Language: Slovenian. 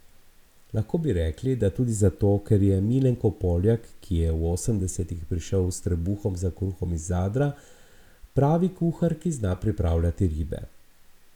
Lahko bi rekli, da tudi zato, ker je Milenko Poljak, ki je v osemdesetih prišel s trebuhom za kruhom iz Zadra, pravi kuhar, ki zna pripravljati ribe.